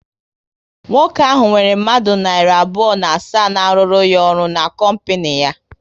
Nwoke ahụ nwere mmadụ narị abụọ na asaa na aruru ya ọrụ n'kompinu ya